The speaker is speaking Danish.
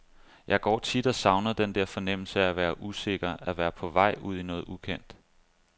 Jeg går tit og savner den der fornemmelse af at være usikker, at være på vej ud i noget ukendt.